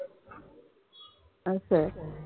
असय.